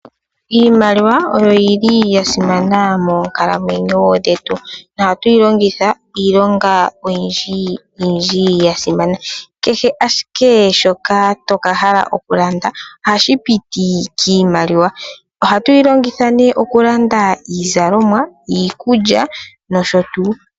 Iimaliwa oyo yili ya simana moonkalamwenyo dhetu nohatu yi longitha iilonga oyindji yindji yasimana. Kehe shoka toka hala okulanda ohashi piti kiimaliwa. Ohatu yi longitha oku landa iizalomwa, iikulya nosho tuu.